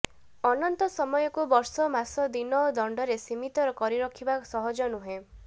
ଅନନ୍ତ ସମୟକୁ ବର୍ଷ ମାସ ଦିନ ଓ ଦଣ୍ଡରେ ସୀମିତ କରିରଖିବା ସହଜ ନୁହେଁ